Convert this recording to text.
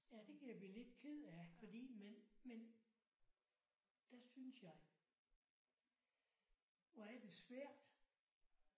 Ja det kan jeg blive lidt ked af fordi man man der synes jeg hvor er det svært